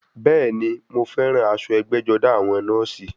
Bẹ́ẹ̀ni, mọ fẹ́ràn aṣọ ẹgbẹ́-jọdá àwọn nọ́ọ̀sì.